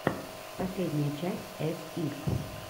последняя часть эс ис